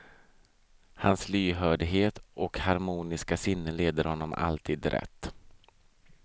Hans lyhördhet och harmoniska sinne leder honom alltid rätt.